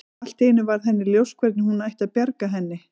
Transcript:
Allt í einu varð henni ljóst hvernig hún ætti að bjarga henni.